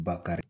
Bakari